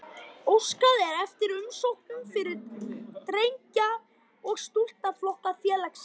Óskað er eftir umsóknum fyrir drengja- og stúlknaflokka félagsins.